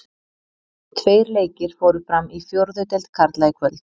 Tveir leikir fóru fram í fjórðu deild karla í kvöld.